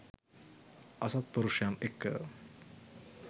අසත්පුරුෂයන් එක්ක